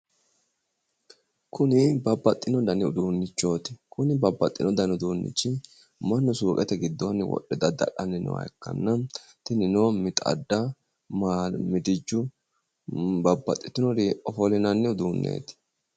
Kuni babbaxxino dani uduunnichooti. Kuni babbaxxino dani uduunnichi mannu suuqete gidoonni wohe dada'lanni nooha ikkanna, tinino mixadda, maalu midiju babbaxitinori ofollinanni uduunnichooti.